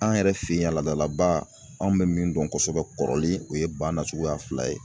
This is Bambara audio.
An yɛrɛ fe ye ya ladaba anw be min dɔn kosɛbɛ kɔrɔlen o ye ba nasuguya fila ye.